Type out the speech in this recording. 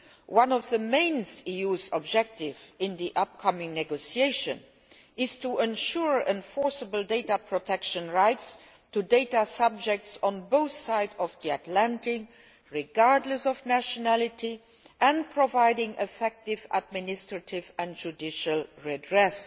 One of the EU's main objectives in the forthcoming negotiations is to ensure enforceable data protection rights to data subjects on both sides of the Atlantic, regardless of nationality, and providing effective administrative and judicial redress.